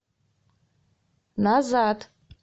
назад